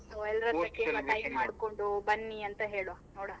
So ಬನ್ನಿ ಅಂತ ಹೇಳುವ ನೋಡುವ.